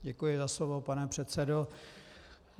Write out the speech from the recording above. Děkuji za slovo, pane předsedo.